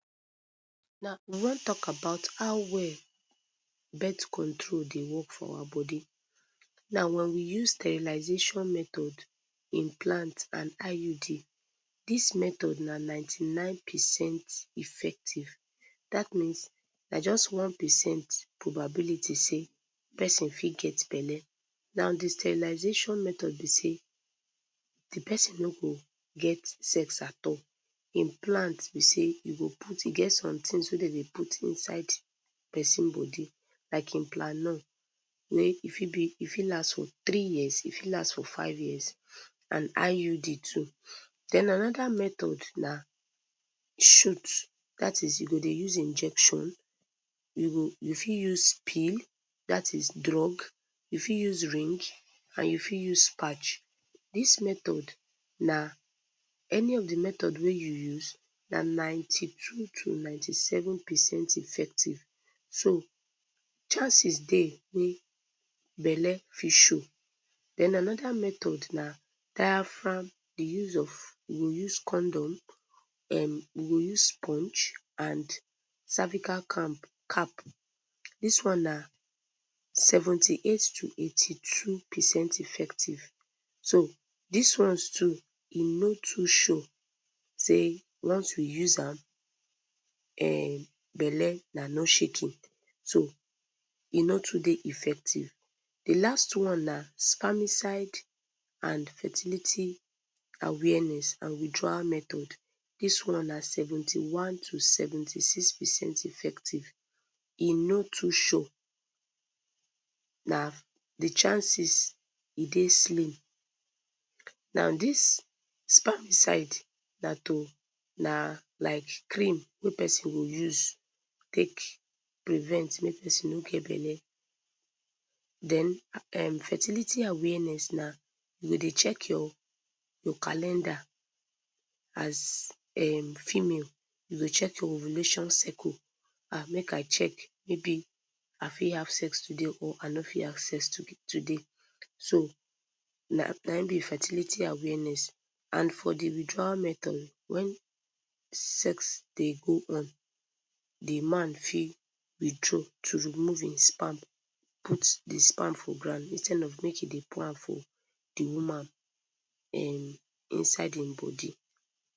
Now we wan talk about how well birth control dey work for our body, now wen we use sterilization method implant and IUD, dis method na ninety nine percent effective, dat means na jus one percent probability sey persin fit get belle, now d sterilization method b sey d persin no go get sex at all, implants b sey you go put e get somethings wey dem dey put inside persin body like implanon, wey e fit be e fit last for three years e fit last for five years and IUD too, then anoda method na shoot, dat is u go dey use injection, u go u fit use pill dat is drug, u fit use ring and u fit use patch, dis method na any of d method wey u use na ninety two to ninety seven percent effective so chances dey wey belle fit show, den anoda method na diapram, the use of, u go use condom, um u go sponge and cervical cap cap, dis one na seventy eight to eighty two percent effective so dis ones too e no too sure sey once we use am um belle na no shaking, so e no too dey effective, d last one na spermicide and fertility awareness and withdrawal method, dis one na seventy one to seventy six percent effective, e no too sure, na d chances e dey slim, now dis spermicide na to, na like cream wey persin go use take prevent make persin no get belle den um fertility awareness na u go dey check your your calender as um female, u go check your ovulation circle, ah make I check maybe I fit have sex today or I no fit have sex today so na na hin be fertility awareness, and for d withdrawal method wen d sex dey go on d man fit withdraw to remove hin sperm put d sperm for ground instead of make he dey pour am for d woman um inside hin body.